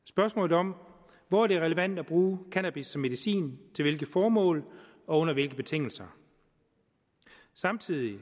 spørgsmålet om hvor det er relevant at bruge cannabis som medicin til hvilke formål og under hvilke betingelser samtidig